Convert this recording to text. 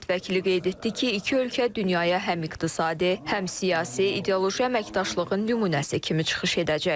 Millət vəkili qeyd etdi ki, iki ölkə dünyaya həm iqtisadi, həm siyasi, ideoloji əməkdaşlığın nümunəsi kimi çıxış edəcək.